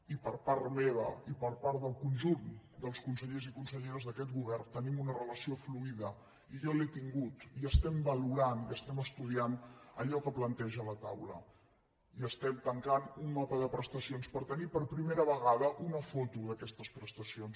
i per part meva i per part del conjunt dels consellers i conselleres d’aquest govern hi tenim una relació fluida i jo l’he tinguda i valorem i estudiem allò que planteja la taula i tanquem un mapa de prestacions per tenir per primera vegada una foto d’aquestes pres·tacions